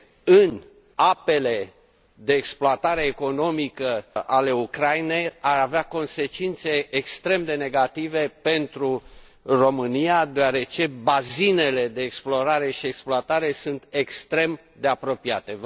în apele de exploatare economică ale Ucrainei ar avea consecințe extrem de negative pentru România, deoarece bazinele de explorare și exploatare sunt extrem de apropiate.